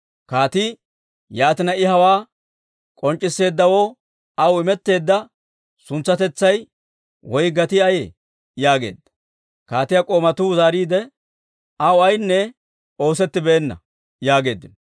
Kaatii, «Yaatina, I hawaa k'onc'c'isseeddawoo aw imetteedda suntsatetsay woy gatii ayee?» yaageedda. Kaatiyaa k'oomatuu zaariide, «Aw ayaynne oosettibeenna» yaageeddino.